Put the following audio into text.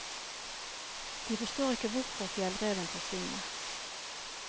De forstår ikke hvorfor fjellreven forsvinner.